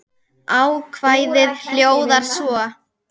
Ákvæðið hljóðar svo